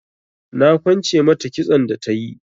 Na kwance mata kitson da tayi.